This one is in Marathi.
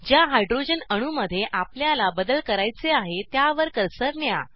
ज्या हायड्रोजन अणू मध्ये आपल्याला बदल करायचे आहे त्यावर कर्सर न्या